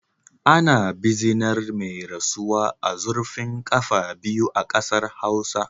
Ana bizinar mai rasuwa a zurfin kafa biyu a kasar Hausawa